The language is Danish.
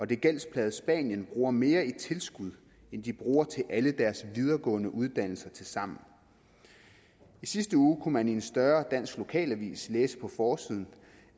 det gældsplagede spanien bruger mere i tilskud end de bruger til alle deres videregående uddannelser tilsammen i sidste uge kunne man i en større dansk lokalavis læse på forsiden